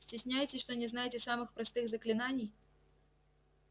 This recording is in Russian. стесняетесь что не знаете самых простых заклинаний